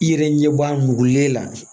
I yɛrɛ ɲɛ b'a mugule la